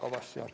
Aitäh!